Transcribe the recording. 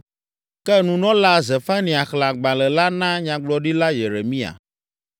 Ke Nunɔla Zefania xlẽ agbalẽ la na Nyagblɔɖila Yeremia.